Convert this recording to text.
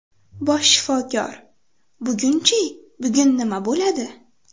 Bosh shifokor: Bugun-chi, bugun nima bo‘ladi?